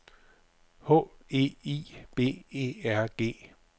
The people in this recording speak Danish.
H E I B E R G